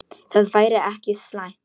Það væri ekki slæmt.